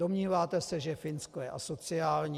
Domníváte se, že Finsko je asociální?